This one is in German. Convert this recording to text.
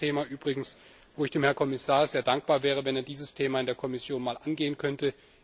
Ein weiteres Thema übrigens, wo ich dem Herrn Kommissar sehr dankbar wäre, wenn er dieses Thema in der Kommission mal angehen könnte.